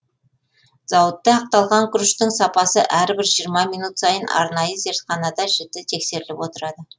зауытта ақталған күріштің сапасы әрбір жиырма минут сайын арнайы зертханада жіті тексеріліп отырады